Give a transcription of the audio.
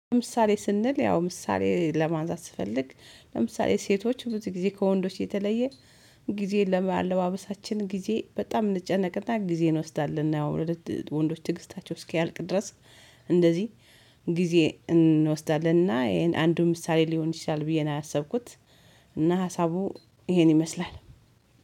ለምሳሌ ስንል ያው ምሳሌ ለማንሳት ስፈልግ፤ ለምሳሌ ሴቶች ብዙ ጊዜ ከወንዶች የተለየ ጊዜን ለአለባበሳችን ጊዜ በጣም እንጨነቅና ጊዜን እንወስዳለን፤ ወንዶች ትግስታቸው እስኪያልቅ ድረስ። እንደዚህ ጊዜ እንወስዳለንና ይሄን አንዱ ምሳሌ ሊሆን ይችላል ብዬ ነው ያሰብኩት። እና ሀሳቡ ይሄን ይመስላል።